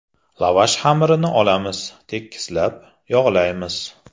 Lavash xamirini olamiz, tekislab, yog‘laymiz.